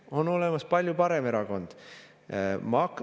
On olemas palju parem erakond.